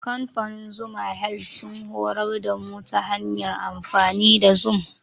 Kamfanin Zuma health sun horar da mu ta hanyar amfani da zum.